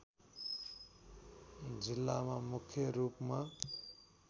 जिल्लामा मुख्य रूपमा